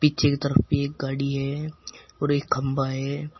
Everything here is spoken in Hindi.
पीछे की तरफ भी एक गाड़ी है और एक खंभा है।